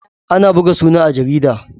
Ana buga suna a jarida.